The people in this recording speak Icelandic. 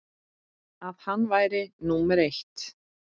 að hann væri númer eitt.